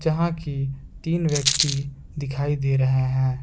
जहां की तीन व्यक्ति दिखाई दे रहे हैं।